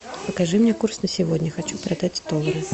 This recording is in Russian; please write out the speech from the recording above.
покажи мне курс на сегодня хочу продать доллары